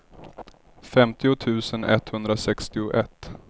femtio tusen etthundrasextioett